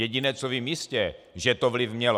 Jediné, co vím jistě, že to vliv mělo.